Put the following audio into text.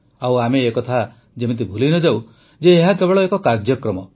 ଆଉ ଆମେ ଏ କଥା ଯେମିତି ଭୁଲିନଯାଉ ଯେ ଏହା କେବଳ ଏକ କାର୍ଯ୍ୟକ୍ରମ